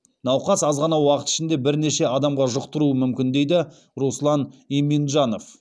науқас аз ғана уақыт ішінде бірнеше адамға жұқтыруы мүмкін дейді руслан иминджанов